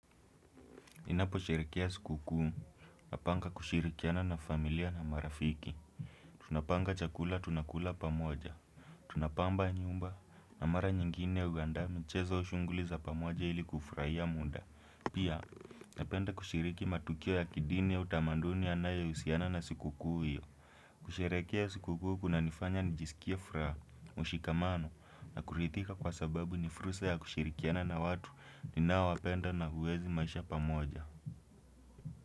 Napo sherekia siku kuu napanga kushirikiana na familia na marafiki Tunapanga chakula tunakula pamoja Tunapamba nyumba na mara nyingine ya uandaa michezo shunguli za pamoja ili kufraia muda Pia napenda kushiriki matukio ya kidini ya utamanduni yanayousiana na siku kuu hiyo kusherekea siku kuu kunanifanya nijiskie furaha, ushikamano na kurithika kwa sababu ni fursa ya kushirikiana na watu ninaowapenda na uwezi maisha pamoja.